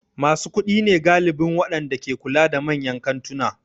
Masu kuɗi ne galibin waɗanda ke kula da manyan kantuna.